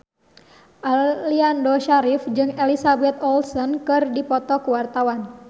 Aliando Syarif jeung Elizabeth Olsen keur dipoto ku wartawan